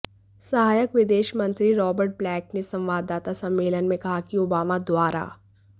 सहायक विदेश मंत्री रॉबर्ट ब्लेक ने संवाददाता सम्मेलन में कहा कि ओबामा द्वारा